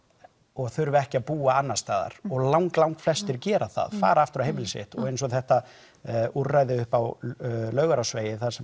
og þurfi ekki að búa annars staðar og lang langflestir gera það fara aftur á heimili sitt og eins og þetta úrræði upp á Laugarásvegi þar sem